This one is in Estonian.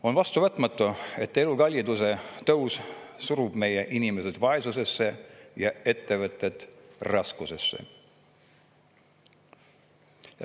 On vastuvõtmatu, et elukalliduse tõus surub meie inimesed vaesusesse ja ettevõtted raskustesse.